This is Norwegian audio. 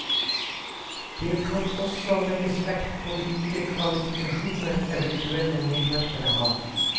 Det kan også legges vekt på hvilke kvalifikasjoner eventuelle medhjelpere har.